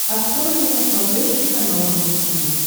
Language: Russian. открой мне на смотрешке канал рубль ти ви